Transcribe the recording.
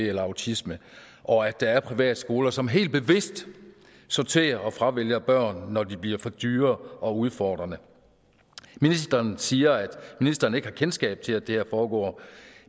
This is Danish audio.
eller autisme og at der er privatskoler som helt bevidst sorterer og fravælger børn når de bliver for dyre og udfordrende ministeren siger at ministeren ikke har kendskab til at det her foregår